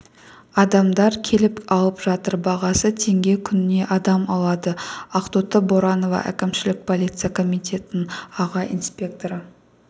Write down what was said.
адамдар келіп алып жатыр бағасы теңге күніне адам алады ақтоты боранова әкімшілік полиция комитетінің аға инспекторы